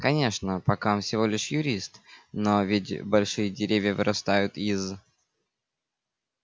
конечно пока он всего лишь юрист но ведь большие деревья вырастают из